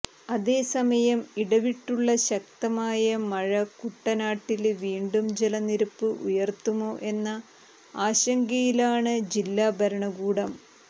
അതേസമയം ഇടവിട്ടുള്ള ശക്തമായ മഴ കുട്ടനാട്ടില് വീണ്ടും ജലനിരപ്പ് ഉയര്ത്തുമോ എന്ന ആശങ്കയിലാണ് ജില്ലാ ഭരണകൂടം